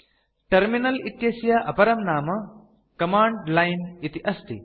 terminal इत्यस्य अपरं नाम कमाण्ड लाइन् इति अस्ति